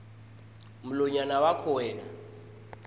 mlonyana wakho wena